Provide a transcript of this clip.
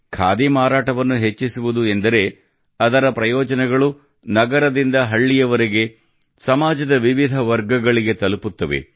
ಖಾದಿ ಮಾರಾಟವನ್ನು ಹೆಚ್ಚಿಸುವುದು ಎಂದರೆ ಅದರ ಪ್ರಯೋಜನಗಳು ನಗರದಿಂದ ಹಳ್ಳಿಯವರೆಗೆ ಸಮಾಜದ ವಿವಿಧ ವರ್ಗಗಳಿಗೆ ತಲುಪುತ್ತವೆ